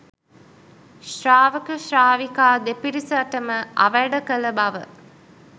ශාවක ශ්‍රාවිකා දෙපිරිසටම අවැඩ කළ බව